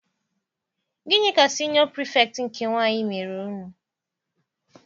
Gịnị ka siniọ pirifektị nke nwaanyị mere unu?